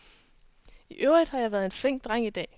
I øvrigt har jeg været en flink dreng i dag.